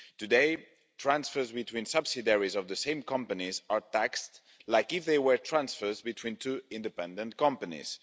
Today, transfers between subsidiaries of the same companies are taxed as if they were transfers between two independent companies.